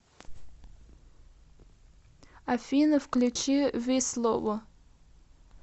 афина включи вислово